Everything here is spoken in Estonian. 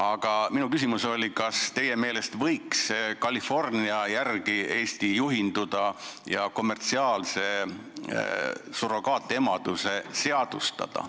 Aga minu küsimus oli, kas teie meelest võiks Eesti California järgi juhinduda ja kommertsiaalse surrogaatemaduse seadustada.